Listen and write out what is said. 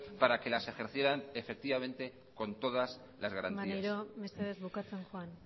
para que las ejercieran con todas las garantías maneiro mesedez bukatzen joan